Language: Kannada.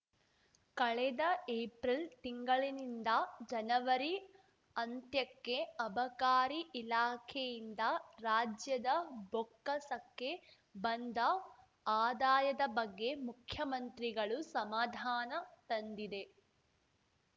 ಕಳೆದ ಏಪ್ರಿಲ್‌ ತಿಂಗಳಿನಿಂದ ಜನವರಿ ಅಂತ್ಯಕ್ಕೆ ಅಬಕಾರಿ ಇಲಾಖೆಯಿಂದ ರಾಜ್ಯದ ಬೊಕ್ಕಸಕ್ಕೆ ಬಂದ ಆದಾಯದ ಬಗ್ಗೆ ಮುಖ್ಯಮಂತ್ರಿಗಳು ಸಮಾಧಾನ ತಂದಿದೆ